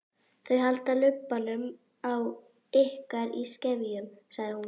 Þau halda lubbanum á ykkur í skefjum, sagði hún.